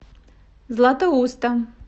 златоуста